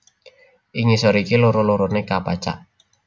Ing ngisor iki loro loroné kapacak